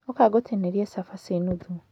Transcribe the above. ũka ngũtinĩrie cabaci nuthu.